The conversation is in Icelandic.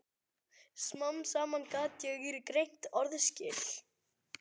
Smám saman gat ég greint orðaskil.